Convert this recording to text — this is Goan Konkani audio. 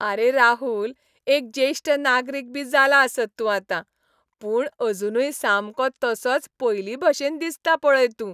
आरे राहुल, एक ज्येश्ठ नागरीक बी जाला आसत तूं आतां, पूण अजूनय सामको तसोच पयलींभाशेन दिसता पळय तूं.